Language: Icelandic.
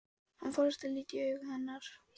Hann forðast að líta í augu hennar.